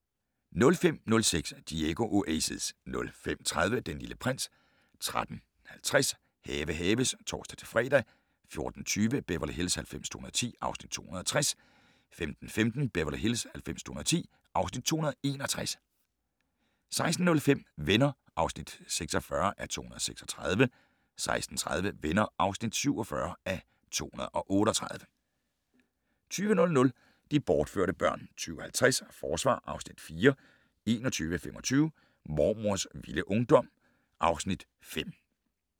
05:06: Diego Oasis 05:30: Den Lille Prins 13:50: Have haves (tor-fre) 14:20: Beverly Hills 90210 (Afs. 260) 15:15: Beverly Hills 90210 (Afs. 261) 16:05: Venner (46:236) 16:30: Venner (47:238) 20:00: De bortførte børn 20:50: Forsvar (Afs. 4) 21:25: Mormors vilde ungdom (Afs. 5)